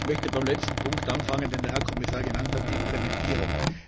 Ich möchte beim letzten Punkt anfangen, den der Herr Kommissar genannt hat, der Implementierung.